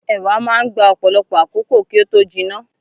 Ẹ̀wà máa n gbà ọpọlọpọ àkókò kí o tó jìnnà.